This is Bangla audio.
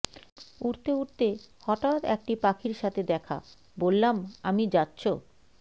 উড়তে উড়তে হঠাৎ একটি পাখির সাথে দেখা বললাম আমি যাচ্ছ